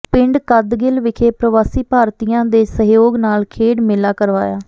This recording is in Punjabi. ਪਿੰਡ ਕੱਦਗਿੱਲ ਵਿਖੇ ਪ੍ਰਵਾਸੀ ਭਾਰਤੀਆਂ ਦੇ ਸਹਿਯੋਗ ਨਾਲ ਖੇਡ ਮੇਲਾ ਕਰਵਾਇਆ